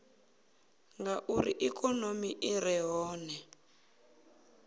ngauri ikonomi i re hone